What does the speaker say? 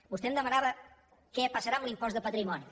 vostè em demanava què passarà amb l’impost de patrimoni